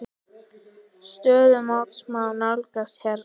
Stöðu mótsins má nálgast hérna.